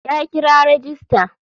Ya kira rajista.